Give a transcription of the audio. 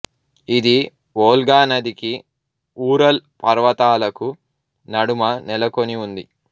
ఇది వోల్గా నదికీ ఊరల్ పర్వతాలకు నడుమ నెలకొని ఉంది